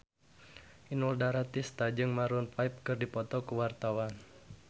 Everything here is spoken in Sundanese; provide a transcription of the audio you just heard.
Inul Daratista jeung Maroon 5 keur dipoto ku wartawan